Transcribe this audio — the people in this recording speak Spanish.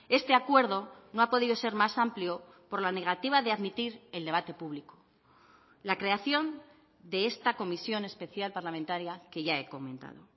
este acuerdo no ha podido ser más amplio por la negativa de admitir el debate público la creación de esta comisión especial parlamentaria que ya he comentado